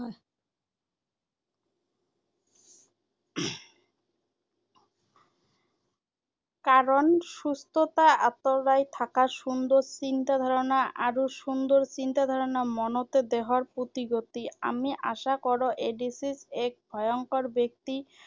কাৰণ, সুস্থতাৰ আঁতৰাই থাকা সুন্দৰ চিন্তাধাৰাণা আৰু সুন্দৰ চিন্তাধাৰাণা মনতে দেহৰ প্ৰতি গতি। আমি আশা কৰো এইড্‌ছঃ এক ভয়ংকৰ ব্যাধি